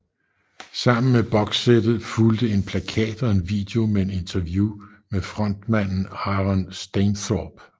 Sammen med bokssættet fulgte en plakat og en video med et interview med frontmanden Aaron Stainthorpe